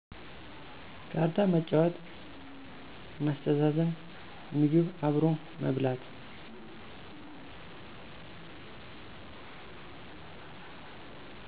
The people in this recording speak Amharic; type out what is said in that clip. ካርታ መጫወት፣ ማስተዛዘን፣ ምግብ አብሮ መብላት።